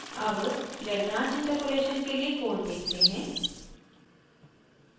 अब lagrange interpolation के लिए कोड देखते हैं